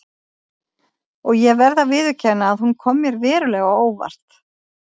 Og ég verð að viðurkenna að hún kom mér verulega á óvart.